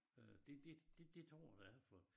Øh det det det det tror jeg da alle folk